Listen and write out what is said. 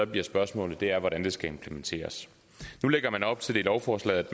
bliver spørgsmålet er hvordan det skal implementeres nu lægger man op til i lovforslaget